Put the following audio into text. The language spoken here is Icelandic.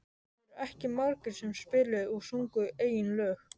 Það voru ekki margir sem spiluðu og sungu eigin lög.